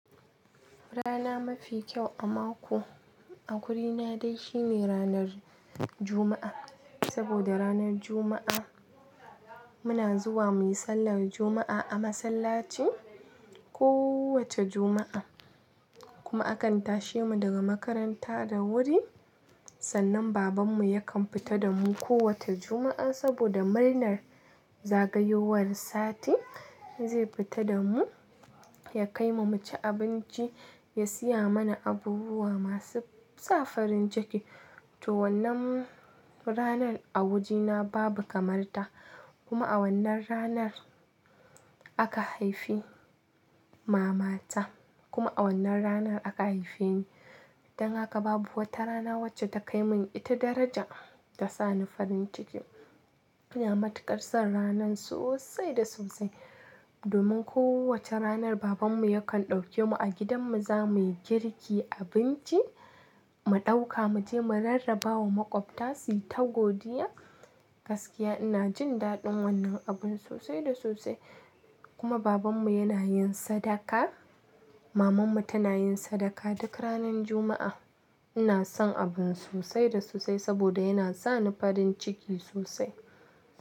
Rana mafi kyau a mako a wurina dai shi ne ranar Juma'a. Saboda ranar Juma'a muna zuwa muyi sallar Juma'a a masallaci kowace Juma'a. Kuma akan tashe mu daga makaranta da wuri. Sannan babanmu yakan fita da mu kowace Juma'a saboda murnar zagayowar sati zai fita da mu ya kai mu mu ci abinci, ya siya mana abubuwa masu sa farin ciki. To wannan ranar a wajena babu kamar ta. Kuma a wannan ranar aka haifi mamata kuma a wannan ranar aka haife ni. Dan haka babu wata rana wacce ta kai mun ita daraja da sa ni farin ciki. Ina matukar son ranar sosai da sosai. Domin ko wace ranar babanmu yakan ɗauke mu a gidan mu za muyi girki, abinci mu ɗauka mu je mu rarraba wa maƙwabta su yi ta godiya. Gaskiya ina jin daɗin wannan abun sosai da sosai. Kuma babanmu yana yin sadaka, mamanmu tana yin sadaka duk ranar Juma'a. Ina son abun sosai da sosai saboda yana sa ni farin ciki sosai.